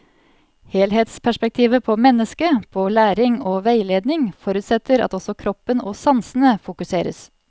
Helhetsperspektivet på mennesket, på læring og veiledning forutsetter at også kroppen og sansene fokuseres.